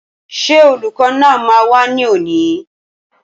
Ṣé olùkọ́ náà máa wá ní òní?